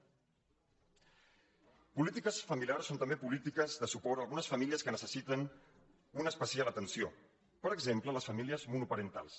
polítiques familiars són també polítiques de suport a algunes famílies que necessiten una especial atenció per exemple les famílies monoparentals